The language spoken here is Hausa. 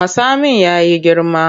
Matsamin ya yi girma.